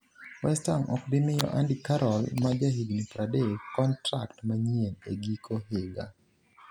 West Ham ok bi miyo Andy Carroll ma jahigni 30 kontrak manyien e giko higa.